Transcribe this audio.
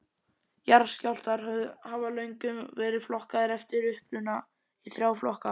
Jarðskjálftar hafa löngum verið flokkaðir eftir uppruna í þrjá flokka.